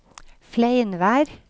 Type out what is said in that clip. Fleinvær